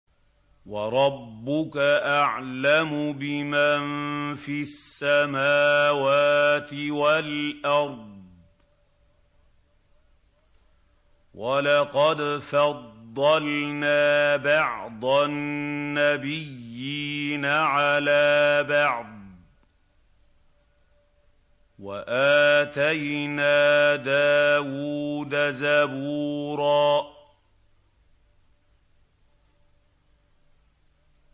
وَرَبُّكَ أَعْلَمُ بِمَن فِي السَّمَاوَاتِ وَالْأَرْضِ ۗ وَلَقَدْ فَضَّلْنَا بَعْضَ النَّبِيِّينَ عَلَىٰ بَعْضٍ ۖ وَآتَيْنَا دَاوُودَ زَبُورًا